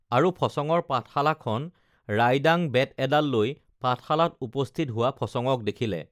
আৰু ফচঙৰ পাঠশালাখন ৰাইডাং বেত এডাল লৈ পাঠশালাত উপস্থিত হোৱা ফচঙক দেখিলে